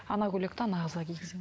ана көйлекті ана қызға кигіземін